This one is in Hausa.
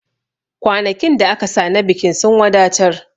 Kwanakin da aka sa na bikin sun wadatar